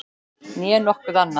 Né nokkuð annað.